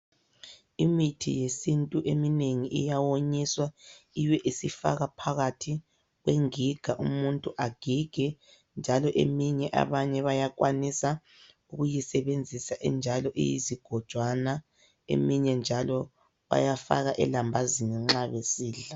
Imithi yesintu eminengi iyawonyiswa ibe isifakwa phakathi kwenginga umuntu agige njalo eminye abanye bayakwanisa ukuyisebenzisa injalo iyizigojwana eminye njalo bayafaka elambazini nxa besidla.